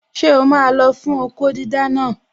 Ṣé o máa lọ fún okó dídá naa?